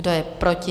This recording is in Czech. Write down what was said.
Kdo je proti?